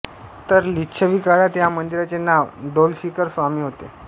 तर लिच्छवी काळात या मंदिराचे नाव डोलशिखर स्वामी होते